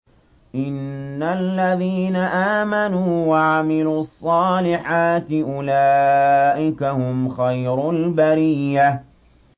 إِنَّ الَّذِينَ آمَنُوا وَعَمِلُوا الصَّالِحَاتِ أُولَٰئِكَ هُمْ خَيْرُ الْبَرِيَّةِ